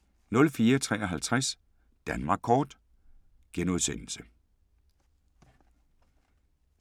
04:53: Danmark Kort *